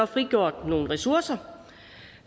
frigjort nogle ressourcer